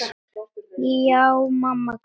Já, mamma kunni það.